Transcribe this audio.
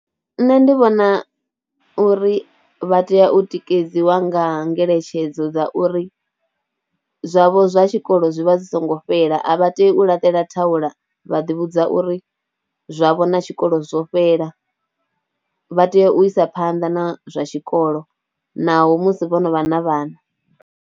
Nṋe ndi vhona uri vha tea u tikedziwa nga ngeletshedzo dza uri zwavho zwa tshikolo zwi vha zwi songo fhela, a vha te u laṱela thaula vha ḓivhudza uri zwavho na tshikolo zwo fhela, vha tea u isa phanḓa na zwa tshikolo naho musi vho no vha na vhana.